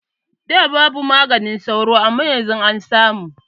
Da babu maganin sauro amma yanzu an samu